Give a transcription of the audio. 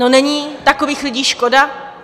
No, není takových lidí škoda?